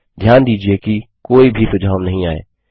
ध्यान दीजिये कि कोई भी सुझाव नहीं आए